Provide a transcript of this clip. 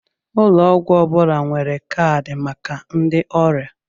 Ụlọ ọgwụ ọ bụla nwere kaadị maka ndị oria